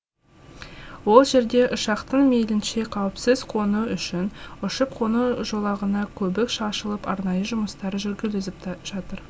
ол жерде ұшақтың мейлінше қауіпсіз қонуы үшін ұшып қону жолағына көбік шашылып арнайы жұмыстар жүргізіліп жатыр